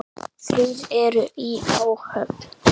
Þrír eru í áhöfn.